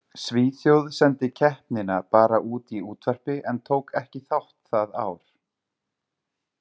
Svíþjóð sendi keppnina bara út í útvarpi en tók ekki þátt það ár.